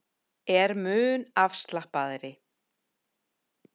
Er mun afslappaðri